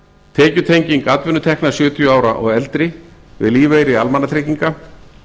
tekjutenging atvinnutekna sjötíu ára og eldri við lífeyri almannatrygginga